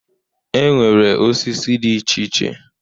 E nwere osisi dị iche iche.